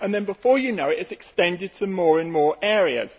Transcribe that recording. Then, before you know it, this is extended to more and more areas.